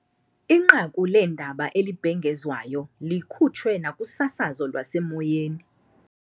Inqaku leendaba elibhengezwayo likhutshwe nakusasazo lwasemoyeni.